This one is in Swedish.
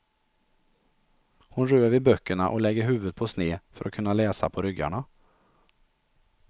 Hon rör vid böckerna och lägger huvudet på sned för att kunna läsa på ryggarna.